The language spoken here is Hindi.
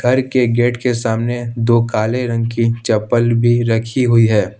घर के गेट के सामने दो काले रंग की चप्पल भी रखी हुई है।